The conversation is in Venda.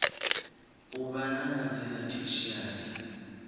u vha na madzina tertiary